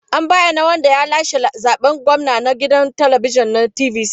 An bayyana wanda ya lashe zaben gwamna a gidan talabijin na TVC.